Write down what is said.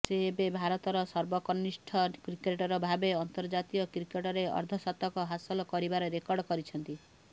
ସେ ଏବେ ଭାରତର ସର୍ବକନିଷ୍ଠ କ୍ରିକେଟର ଭାବେ ଅନ୍ତର୍ଜାତୀୟ କ୍ରିକେଟରେ ଅର୍ଦ୍ଧଶତକ ହାସଲ କରିବାର ରେକର୍ଡ କରିଛନ୍ତି